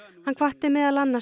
hann hvatti meðal annars